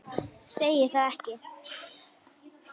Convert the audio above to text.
Segir það ekki?